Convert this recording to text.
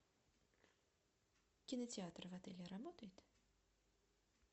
кинотеатр в отеле работает